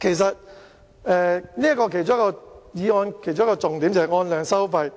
其實，議案的其中一個重點是按量收費，